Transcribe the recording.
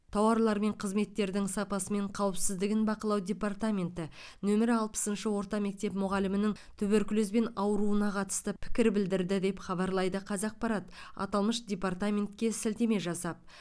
тауарлар мен қызметтердің сапасы мен қауіпсіздігін бақылау департаменті нөмірі алпысыншы орта мектеп мұғалімінің туберкулезбен ауыруына қатысты пікір білдірді деп хабарлайды қазақпарат аталмыш департаментке сілтеме жасап